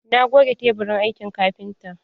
Na goge teburin aikin kafintan.